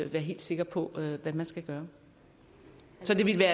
være helt sikker på hvad man skal gøre så det ville